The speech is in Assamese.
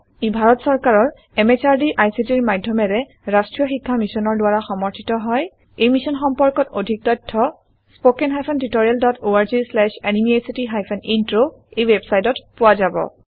ই ভাৰত চৰকাৰৰ MHRDৰ ICTৰ মাধয়মেৰে ৰাস্ত্ৰীয় শিক্ষা মিছনৰ দ্ৱাৰা সমৰ্থিত হয় এই মিশ্যন সম্পৰ্কত অধিক তথ্য spoken hyphen tutorial dot org slash এনএমইআইচিত হাইফেন ইন্ট্ৰ ৱেবচাইটত পোৱা যাব